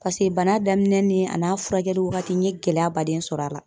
Paseke bana daminɛ ni a n'a furakɛli wagati n ye gɛlɛya baden sɔr'a la.